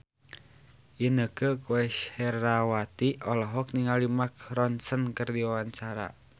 Inneke Koesherawati olohok ningali Mark Ronson keur diwawancara